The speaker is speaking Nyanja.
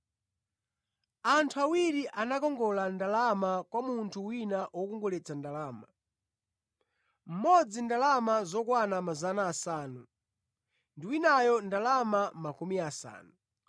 “Anthu awiri anakongola ndalama kwa munthu wina wokongoletsa ndalama: mmodzi ndalama zokwana 500 ndi winayo ndalama makumi asanu.